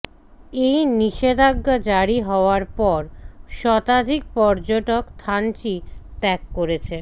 এই নিষেধাজ্ঞা জারি হওয়ার পর শতাধিক পর্যটক থানচি ত্যাগ করেছেন